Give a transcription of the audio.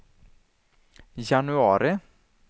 januari